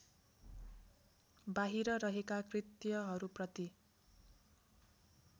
बाहिर रहेका कृत्यहरूप्रति